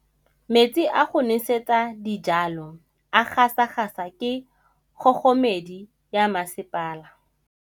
Metsi a go nosetsa dijalo a gasa gasa ke kgogomedi ya masepala.